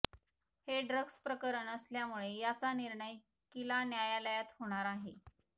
हे ड्रग्स प्रकरण असल्यामुळे याचा निर्णय किला न्यायालयात होणार आहे